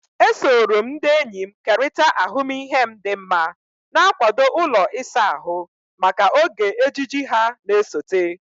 Esoro m ndị enyi m kerịta ahụmịhe m dị mma, na-akwado ụlọ ịsa ahụ maka oge ejiji ha na-esote.